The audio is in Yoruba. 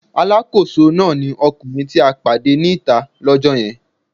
Alákòóso náà ni ọkùnrin tí a pàdé ní ìta lọ́kọ́ yẹn.